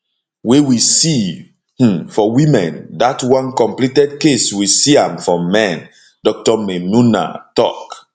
wey we see um for women dat one completed case we see am for men dr maynunah tok